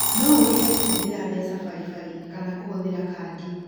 No ũrĩhe kũhũthĩra mbeca baribari kana kũhũthĩra kandi.